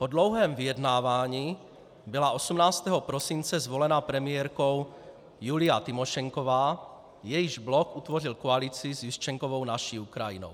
Po dlouhém vyjednávání byla 18. prosince zvolena premiérkou Julija Tymošenková, jejíž blok utvořil koalici s Juščenkovou Naší Ukrajinou.